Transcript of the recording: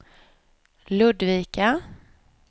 Ludvika